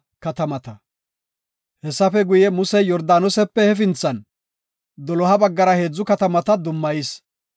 Hessafe guye, Musey Yordaanose hefinthan doloha baggara heedzu katamata dummayis.